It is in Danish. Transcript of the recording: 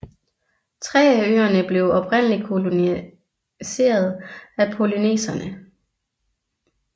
Tre af øerne blev oprindeligt koloniseret af polynesiere